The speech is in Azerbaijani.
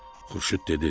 Xurşud dedi: